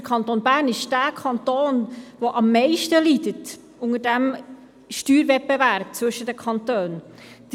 – Der Kanton Bern ist derjenige Kanton, der am meisten unter dem Steuerwettbewerb zwischen den Kantonen leidet.